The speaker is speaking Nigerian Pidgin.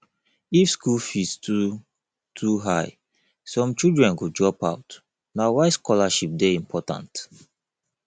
if school fees too too high some children go drop out na why scholarship dey important